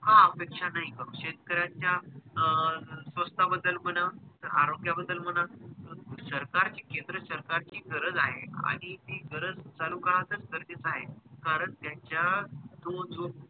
हा अपेक्षा नाही करू शेतकऱ्याचा अं स्वास्था बद्दल म्हणा तर आरोग्या बद्दल म्हणा सरकार ची केंद्र सरकार ची गरज आहे आणि ती गरज चालू का असेल तर त्याच कारण त्याचा तो जो